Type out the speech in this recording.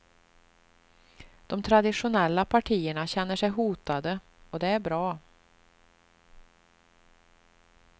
De traditionella partierna känner sig hotade, och det är bra.